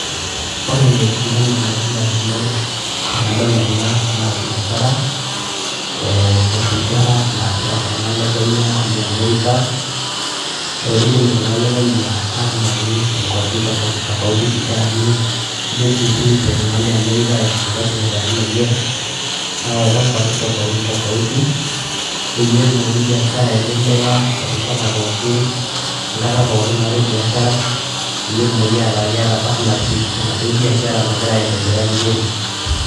Ore entoki nalotu indamunot tenadol ena, naa biashara, eh osigara naasita iltung'anak le Kenya, oliamerika, kiidim iltung'anak le Kenya atimiraki inkwapi tofauti tofauti sigarani, kidim si sininche iltung'anak le Amerika aiexpota sigarani lenye, awaita nkwapi tofauti tofauti ,peyie etumoki biashara aendelea erishata pookin, enkata pookin naatae biashara, peyie etumoki ataa keeta partnership tenaduo biashara nagira aendelea vizuri.